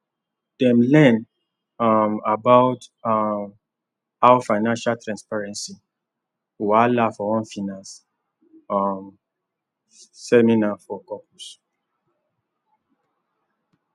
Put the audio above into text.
dem learn um about um how financial transparency whahala for one finance um seminar for couples